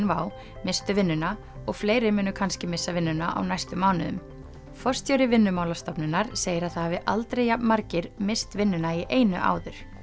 WOW misstu vinnuna og fleiri munu kannski missa vinnuna á næstu mánuðum forstjóri Vinnumálastofnunar segir að það hafi aldrei jafn margir misst vinnuna í einu áður